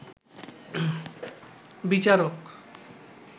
বিচারক